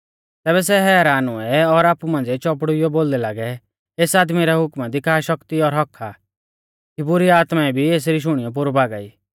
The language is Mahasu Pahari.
तैबै सै हैरान हुऐ और आपु मांझ़िऐ चौपड़ुईयौ बोलदै लागै एस आदमी रै हुक्मा दी का शक्ति और हक्क्क आ कि बुरी आत्माऐं भी एसरी शुणियौ पोरु भागा ई